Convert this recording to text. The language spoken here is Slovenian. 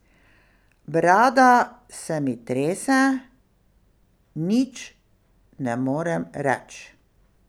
Brada se mi trese, nič ne morem reč.